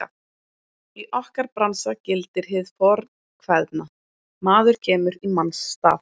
Í okkar bransa gildir hið fornkveðna: Maður kemur í manns stað.